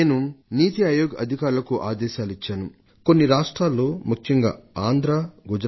కొన్ని రాష్ట్రాలు ప్రత్యేకించి గుజరాత్ ఆంధ్ర ప్రదేశ్ సాంకేతిక విజ్ఞానాన్ని సంపూర్ణంగా వినియోగించుకొన్నాయి